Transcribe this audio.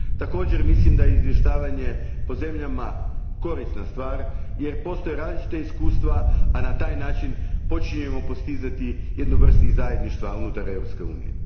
Također, mislim da izvještavanje po zemljama korisna stvar jer postoje različita iskustva, a na taj način počinjemo postizati jednu vrstu zajedništva unutar Europske unije.